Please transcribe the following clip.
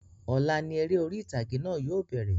Ọ̀la ni eré ori ìtàgé náà yóò bẹ̀rẹ̀